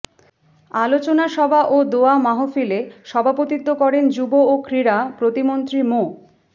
আলোচনাসভা ও দোয়া মাহফিলে সভাপতিত্ব করেন যুব ও ক্রীড়া প্রতিমন্ত্রী মো